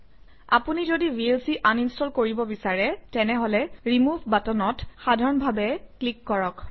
আপুনি যদি VLC uninstall কৰিব বিচাৰে তেনেহলে ৰিমুভ বাটনত সাধাৰণভাৱে ক্লিক কৰক